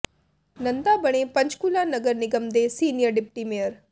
ਨੰਦਾ ਬਣੇ ਪੰਚਕੂਲਾ ਨਗਰ ਨਿਗਮ ਦੇ ਸੀਨੀਅਰ ਡਿਪਟੀ ਮੇਅਰ